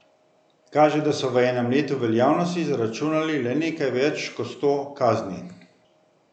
Kaže, da so v enem letu veljavnosti zaračunali le nekaj več kot sto kazni.